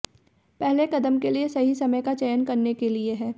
पहले कदम के लिए सही समय का चयन करने के लिए है